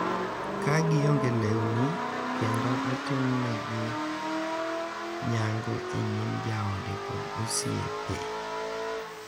Ka gionge lewni, kendo itimonegi nyango e nyim joode kod osiepe.